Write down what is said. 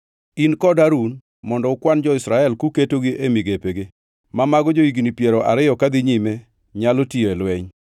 In kod Harun mondo ukwan jo-Israel kuketogi e migepegi, ma mago jo-higni piero ariyo kadhi nyime nyalo tiyo e lweny.